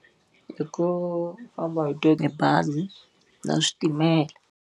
I ku famba hi tona tibazi na switimela.